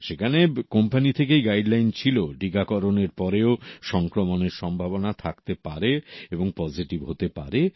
সেখানে কোম্পানী থেকেই গাইডলাইন ছিল টীকাকরণের পরেও সংক্রমণের সম্ভাবনা থাকতে পারে এবং পজেটিভ হতে পারে